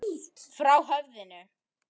Frá höfundi